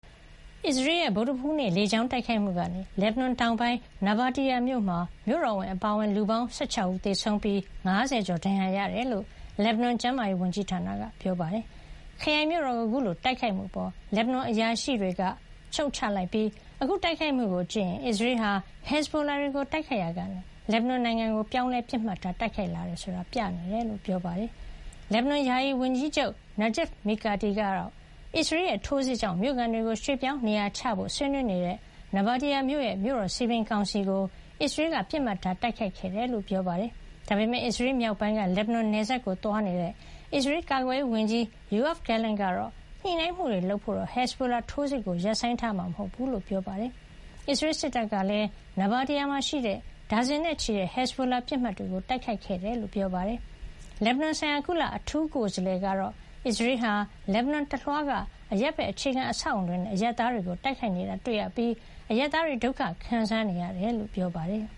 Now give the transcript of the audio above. အစ္စရေးရဲ့ ဗုဒ္ဓဟူးနေ့ လေကြောင်းတိုက်ခိုက်မှုကနေ လက်ဘနွန်တောင်ပိုင်း နာဘာတီယာမြို့မှာ မြို့တော်ဝန်အပါအဝင် လူပေါင်း ၁၆ ဦး သေဆုံးပြီး ၅၀ ကျော် ဒဏ်ရာရ ခဲ့ရတယ်လို့ လက်ဘနွန် ကျန်းမာရေး ဝန်ကြီးဌာနက ပြောပါတယ်။ ခရိုင်မြို့တော်ကို အခုလိုတိုက်ခိုက်မှုအပေါ် လက်ဘနွန်အရာရှိတွေက ရှုတ်ချလိုက်ပြီး အခုတိုက်ခိုက်မှု ကို ကြည့်ရင် အစ္စရေးဟာ ဟက်ဇ်ဘိုလာတွေကို တိုက်ခိုက်ရာကနေ လက်ဘနွန်နိုင်ငံကို ပြောင်းလဲ ပစ်မှတ်ထား တိုက်ခိုက်လာတယ်ဆိုတာ ပြနေတယ်လို့ ပြောပါတယ်။ လက်ဘနွန် ယာယီဝန်ကြီးချုပ် Najib Mikati ကတော့ အစ္စရေးရဲ့ ထိုးစစ်ကြောင့် မြို့ခံတွေကို ရွှေ့ပြောင်း နေရာချထားဖို့ ဆွေးနွေးနေတဲ့ နာဘာတီယာမြို့ရဲ့ မြို့တော်စည်ပင်ကောင်စီကို အစ္စရေးက ပစ်မှတ်ထား တိုက်ခိုက်ခဲ့တယ်လို့ ပြောပါတယ်။ ဒါပေမယ့် အစ္စရေးမြောက်ပိုင်းက လက်ဘနွန်နယ်စပ်ကို သွားရောက်နေတဲ့ အစ္စရေး ကာကွယ်ရေး ဝန်ကြီး Yoav Gallant ကတော့ ညှိနှိုင်းမှုတွေလုပ်ဖို့ ဟက်ဇ်ဘိုလာထိုးစစ်ကို ရပ်ဆိုင်းထားမှာ မဟုတ်ဘူးလို့ ပြောပါတယ်။ အစ္စရေးစစ်တပ်ကလည်း နာဘာတီယာမှာ ရှိတဲ့ ဒါဇင်နဲ့ချီတဲ့ ဟက်ဇ်ဘိုလာပစ်မှတ်တွေကို တိုက်ခိုက်ခဲ့တယ်လို့ ပြောပါတယ်။ လက်ဘနွန်ဆိုင်ရာ ကုလ အထူးကိုယ်စားလှယ် Jeanine Hennis-Plasschaert ကတော့ အစ္စရေးဟာ လက်ဘနွန်တလွှားက အရပ်ဘက်အခြေခံ အဆောက်အဦးတွေနဲ့ အရပ်သားတွေကို တိုက်ခိုက်နေတာ တွေ့ရပြီး အရပ်သားတွေ ဒုက္ခခံစားနေရကြောင်း ပြောပါတယ်။